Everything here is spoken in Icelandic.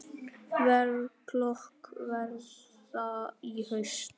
Verklok verða í haust.